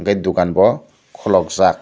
tai dukan bo khuluk jak.